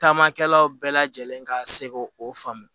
Taamakɛlaw bɛɛ lajɛlen ka se k'o o faamu